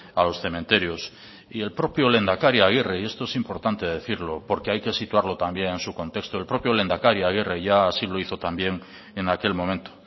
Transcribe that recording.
a los cementerios y en el propio lehendakari agirre y esto es importante decirlo porque hay que situarlo también en su contexto el propio lehendakari agirre ya así lo hizo también en aquel momento